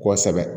Kosɛbɛ